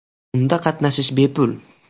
Unda qatnashish bepul.